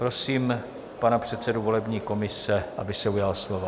Prosím pana předsedu volební komise, aby se ujal slova.